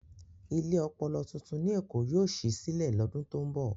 Ilé ọpọlọ tuntun ní Èkó yóò ṣí sílẹ̀ lọ́dún tó ń bọ̀.